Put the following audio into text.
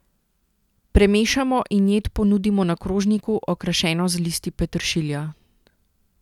Premešamo in jed ponudimo na krožniku, okrašeno z listi peteršilja.